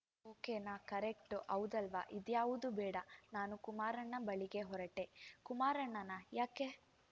ಓಕೆನಾ ಕರೆಕ್ಟು ಹೌದಲ್ವಾ ಇದ್ಯಾವುದೂ ಬೇಡ ನಾನು ಕುಮಾರಣ್ಣನ ಬಳಿಗೆ ಹೊರಟೆ ಕುಮಾರಣ್ಣನಾ ಯಾಕೆ